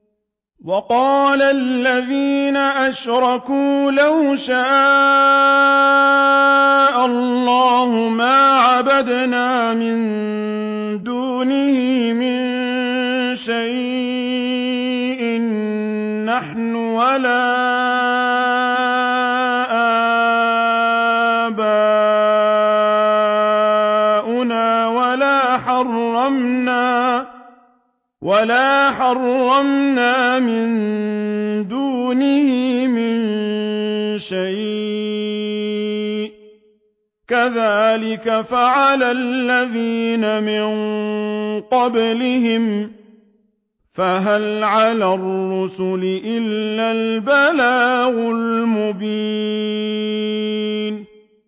وَقَالَ الَّذِينَ أَشْرَكُوا لَوْ شَاءَ اللَّهُ مَا عَبَدْنَا مِن دُونِهِ مِن شَيْءٍ نَّحْنُ وَلَا آبَاؤُنَا وَلَا حَرَّمْنَا مِن دُونِهِ مِن شَيْءٍ ۚ كَذَٰلِكَ فَعَلَ الَّذِينَ مِن قَبْلِهِمْ ۚ فَهَلْ عَلَى الرُّسُلِ إِلَّا الْبَلَاغُ الْمُبِينُ